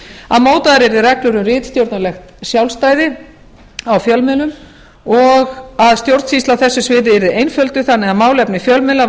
að mótaðar yrðu reglur um ritstjórnarlegt sjálfstæði á fjölmiðlum og að stjórnsýsla á þessu sviði yrði einfölduð þannig að málefni fjölmiðla